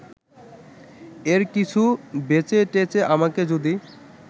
এর কিছু বেচেটেচে আমাকে যদি